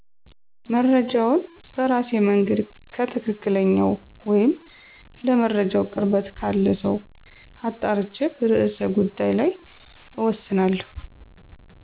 መረጃውን በራሴ መንገድ ከትክክለኝው ወይም ለመረጃው ቅርበት ካለ ሰው አጣርቼ በርዕሰ ጉዳይ ላይ እወስናለሁ።